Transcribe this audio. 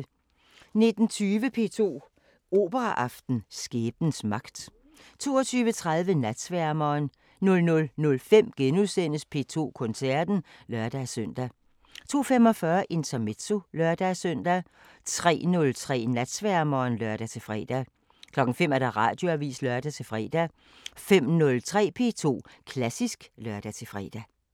19:20: P2 Operaaften: Skæbnens magt 22:30: Natsværmeren 00:05: P2 Koncerten *(lør-søn) 02:45: Intermezzo (lør-søn) 03:03: Natsværmeren (lør-fre) 05:00: Radioavisen (lør-fre) 05:03: P2 Klassisk (lør-fre)